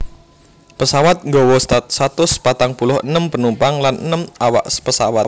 Pesawat nggawa satus patang puluh enem penumpang lan enem awak pesawat